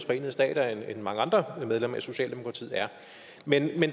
forenede stater end mange andre medlemmer af socialdemokratiet er men